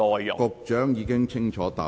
局長已經清楚回答。